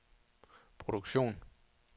produktion